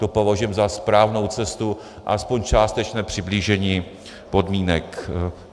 To považujeme za správnou cestu a alespoň částečné přiblížení podmínek.